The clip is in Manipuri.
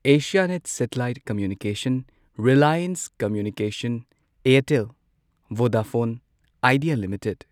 Asianet satellite communication, Reliance communications, Airtel, Vodafone Idea limited